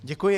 Děkuji.